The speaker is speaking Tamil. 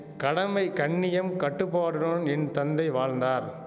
கடமை கண்ணியம் கட்டுப்பாடுடன் என் தந்தை வாழ்ந்தார்